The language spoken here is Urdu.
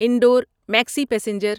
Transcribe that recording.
انڈور مکسی پیسنجر